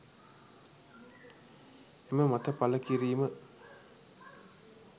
එම මත පළකිරීම